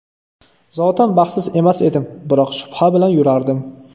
Zotan baxtsiz emas edim, biroq shubha bilan yurardim.